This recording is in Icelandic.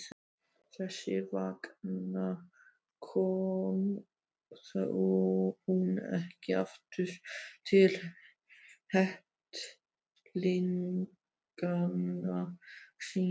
Þess vegna kom hún ekki aftur til kettlinganna sinna.